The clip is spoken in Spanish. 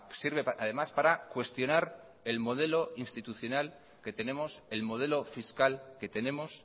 sirve además para cuestionar el modelo institucional que tenemos el modelo fiscal que tenemos